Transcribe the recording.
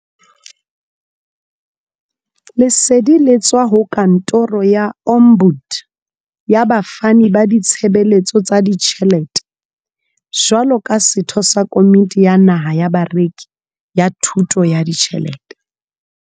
Lesedi le tswa ho Kantoro ya Ombud ya Bafani ba Ditshebeletso tsa Ditjhele te jwalo ka setho sa Komiti ya Naha ya Bareki ya Thuto ya Ditjhelete.